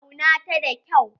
Auna ta da kyau.